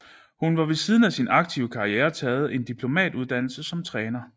Hun har ved siden af sin aktive karriere taget en diplomuddannelse som træner